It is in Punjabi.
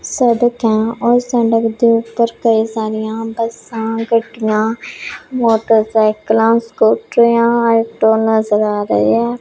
ਸੜਕਾਂ ਔਰ ਸੜਕ ਦੇ ਉੱਪਰ ਕਈ ਸਾਰੀਆਂ ਬੱਸਾਂ ਗੱਡੀਆਂ ਮੋਟਰਸਾਈਕਲਾਂ ਸਕੂਟਰੀਆਂ ਆਟੋ ਨਜ਼ਰ ਆ ਰਹੇ ਹੈ।